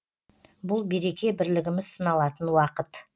бұл береке бірлігіміз сыналатын уақыт